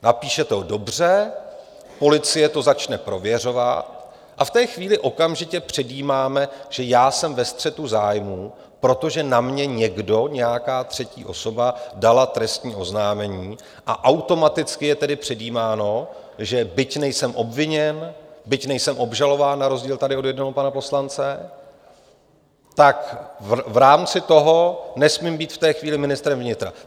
Napíšete ho dobře, policie to začne prověřovat a v té chvíli okamžitě předjímáme, že já jsem ve střetu zájmů, protože na mě někdo, nějaká třetí osoba dala trestní oznámení, a automaticky je tedy předjímáno, že byť nejsem obviněn, byť nejsem obžalován na rozdíl tady od jednoho pana poslance, tak v rámci toho nesmím být v té chvíli ministrem vnitra.